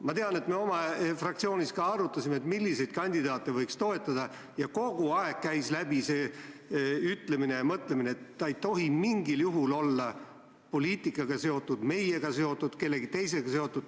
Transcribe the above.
Ma tean, et me ka oma fraktsioonis arutasime, milliseid kandidaate võiks toetada, ja kogu aeg käis läbi see ütlemine ja mõtlemine, et ta ei tohi mingil juhul olla poliitikaga seotud, meiega seotud, kellegi teisega seotud.